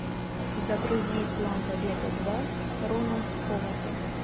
загрузи план побега два рона ховарда